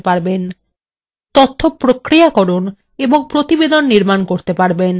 তথ্য প্রক্রিয়াকরণ এবং প্রতিবেদন নির্মান করতে পারেন